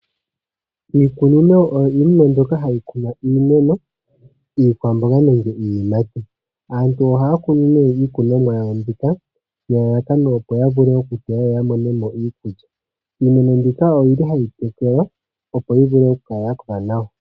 Iikunino oyo iinima mbyoka hayi kunwa iikwamboga neneg iiyimati. Aantu ohaya kunu iimeno yawo mbika nelalakano, opo ya vule okuteya ya mone iikulya. Ohayi tekelwa opo yi kale ya kola nawa.